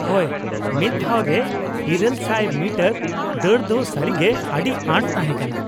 ᱼᱦᱳᱭ, ᱢᱤᱫ ᱫᱷᱟᱣ ᱨᱮ ᱘᱐᱐ ᱢᱤᱴᱟᱹᱨ ᱫᱟᱹᱲ ᱫᱚ ᱥᱟᱹᱨᱤ ᱜᱮ ᱟᱹᱰᱤ ᱟᱸᱴ ᱛᱟᱦᱮᱸ ᱠᱟᱱᱟ ᱾